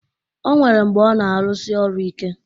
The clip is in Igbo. O nwere mgbe ọ na-arụsi ọrụ ike